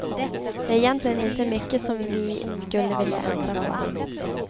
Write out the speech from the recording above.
Det är egentligen inte mycket som vi skulle vilja ändra på.